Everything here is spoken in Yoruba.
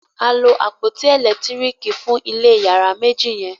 a lo àpótí elekitiriki fun ilé iyàrá méjì yen.